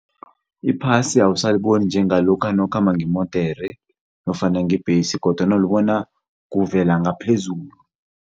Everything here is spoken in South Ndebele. Iphasi awusaliboni njengalokha nawukhamba ngemodere nofana ngebhesi kodwana ulibona kuvela ngaphezulu.